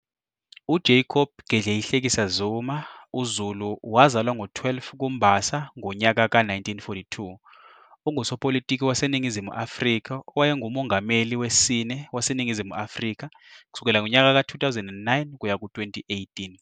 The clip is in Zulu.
UJacob Gedleyihlekisa Zuma, UZulu-, wazalwa ngo-12 ku-Mbasa ngonyaka ka-1942, ungusopolitiki waseNingizimu Afrika owayengumongameli wesine waseNingizimu Afrika kusukela ngonyaka ka-2009 kuya ku-2018.